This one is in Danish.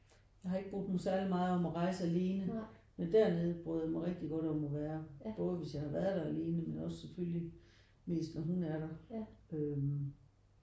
Jeg har ikke brudt mig særligt meget om at rejse alene. Men dernede bryder jeg mig rigtig godt om at være både hvis jeg har været der alene men også selvfølgelig mest når hun er der øh